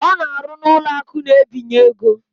Ọ na-arụ n'ụlọakụ na-ebinye ego